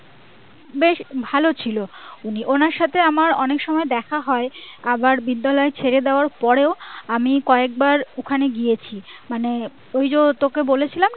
বেশ ভালো ছিলেন উনি ওনার সাথে আমার অনেকসময় দেখা হয় আবার বিদ্যালয় ছেড়ে দেওয়ার পরেও আমি কয়েকবার ওখানে গিয়েছি মানে ওই যে তোকে বলেছিলাম